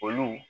Olu